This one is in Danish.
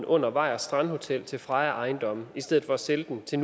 under vejers strandhotel til freja ejendomme i stedet for at sælge den til